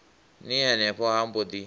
ni henefho ha mbo ḓi